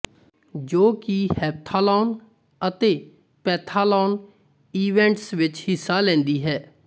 ਜੋ ਕਿ ਹੈਪਥਾਲੋਨ ਅਤੇ ਪੈਂਥਾਲੋਨ ਈਵੈਂਟਸ ਵਿੱਚ ਹਿੱਸਾ ਲੈਂਦੀ ਹੈ